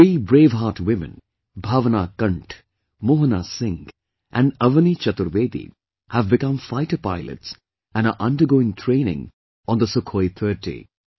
Three braveheart women Bhavna Kanth, Mohana Singh and Avani Chaturvedi have become fighter pilots and are undergoing training on the Sukhoi 30